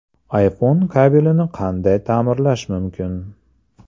iPhone kabelini qanday ta’mirlash mumkin?.